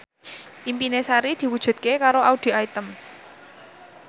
impine Sari diwujudke karo Audy Item